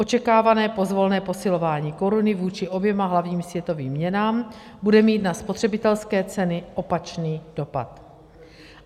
Očekávané pozvolné posilování koruny vůči oběma hlavním světovým měnám bude mít na spotřebitelské ceny opačný dopad.